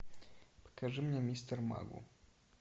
покажи мне мистер магу